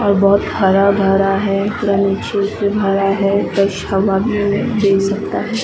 और बहुत हरा भरा है भी हरा है फ्रेश हवा भी है दे सकता है ।